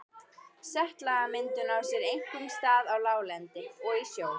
Setlagamyndun á sér einkum stað á láglendi og í sjó.